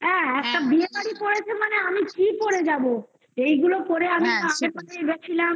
হ্যাঁ, একটা বিয়ে বাড়ি পড়েছে মানে আমি কি পড়ে যাবো? এইগুলো পড়ে আমি